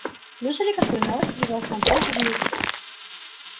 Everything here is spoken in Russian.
слышали какую новость привёз нам пол уилсон